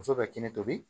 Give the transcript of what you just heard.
Muso bɛ kɛnɛ tobi